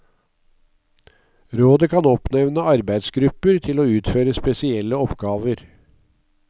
Rådet kan oppnevne arbeidsgrupper til å utføre spesielle oppgaver.